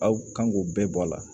Aw kan k'o bɛɛ bɔ a la